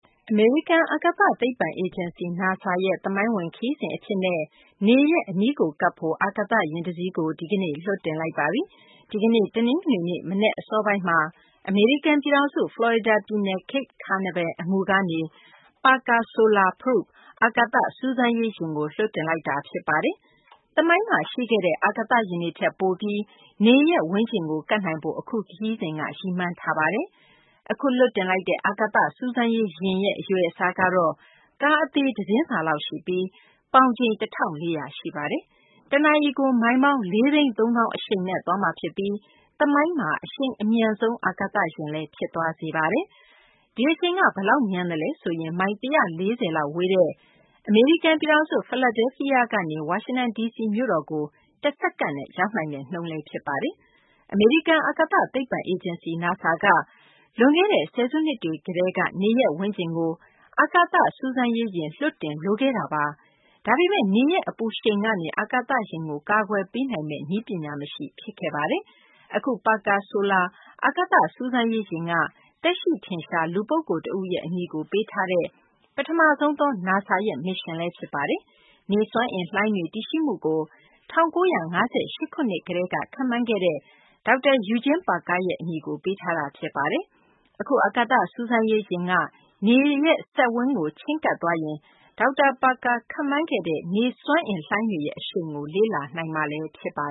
အမေရိကန် အာကာသ သိပ္ပံအေဂျင်စီ NASA ရဲ့ သမိုင်းဝင် ခရီစဉ် အဖြစ်နဲ့ နေ ရဲ့ အနီးကို ကပ်ဖို့ အာကသယာဉ် တစီးကို ဒီကနေ့ လွှတ်တင်လိုက်ပါပြီ။ ဒီကနေ့ တနင်္ဂနွေနေ့ မနက် အစောပိုင်းမှာ အမေရိကန် ပြည်ထောင်စု ဖလော်ရီဒါ ပြည်နယ် Cape Canaveral အငူကနေ Parker Solar Probe - အာကသစူးစမ်းရေးယာဉ်ကို လွှတ်တင်လိုက်တာ ဖြစ်ပါတယ်။ သမိုင်းမှာ ရှိခဲ့တဲ့ အာကာသယာဉ်တွေ ထက်ပိုပြီး နေ ရဲ့ ဝန်းကျင်ကို ကပ်နိုင်ဖို့ အခုခရီးစဉ်က ရည်မှန်းထားတာပါ။ အခု လွှတ်တင်လိုက်တဲ့ အာကာသ စူးစမ်းရေးယာဉ်ရဲ့ အရွယ်အစားကတော့ ကားအသေးတစင်းစာလောက်ရှိပြီး ပေါင်ချိန် ၁၄၀၀ ရှိပါတယ်။ တနာရီကို မိုင်ပေါင်း ၄ သိန်း ၃ သောင်း အရှိန်နဲ့ သွားမှာ ဖြစ်ပြီး သမိုင်းမှာ အရှိန်အမြန်ဆုံး အာကာသယာဉ်လည်း ဖြစ်သွားစေပါတယ်။ ဒီအရှိန်က ဘယ်လောက် မြန်သလဲ ဆိုရင် မိုင် ၁၄၀ လောက်ဝေးတဲ့ အမေရိကန် ပြည်ထောင်စု ဖီလာဒဲလ်ဖီးယားကနေ ဝါရှင်တန် ဒီစီကို တစက္ကန့်နဲ့ ရောက်နိုင်တဲ့နှုန်းဖြစ်ပါတယ်။ အမေရိကန် အာကာသ သိပ္ပံအေဂျင်စီ NASA က လွန်ခဲ့တဲ့ ဆယ်စုနှစ်တွေကတည်းက နေ ရဲ့ ဝန်းကျင်ကို အာကသစူးစမ်းရေးယာဉ် လွှတ်တင် လိုခဲ့တာပါ။ ဒါပေမယ့် နေရဲ့ အပူရှိန်ကနေ အာကာသယာဉ်ကို ကာကွယ်ပေးနိုင်မယ့် နည်းပညာ မရှိ ဖြစ်ခဲ့ပါတယ်။ အခု Parker Solar အာကာသစူးစမ်းရေးယာဉ်က သက်ရှိထင်ရှား လူပုဂ္ဂိုလ် တဦးရဲ့ အမည်ကို ပေးထားတဲ့ ပထမဆုံးသော NASA ရဲ့ မစ်ရှင်လည်း ဖြစ်ပါတယ်။ နေစွမ်းအင်လှိုင်းတွေ တည်ရှိမှုကို ၁၉၅၈ ခုနှစ်တုန်းက ခန့်မှန်းခဲ့တဲ့ ဒေါက်တာ Eugene Parker ရဲ့ အမည်ကို ပေးထားတာ ဖြစ်ပါတယ်။ အခု အာကသစူးစမ်းရေးယာဉ်က နေစက်ဝန်းကို ချဉ်းကပ်သွားရင်တော့ ဒေါက်တာ Parker ခန့်မှန်းခဲ့တဲ့ နေစွမ်းအင်လှိုင်းတွေရဲ့ အရှိန်ကို လေ့လာနိုင်မှာ ဖြစ်ပါ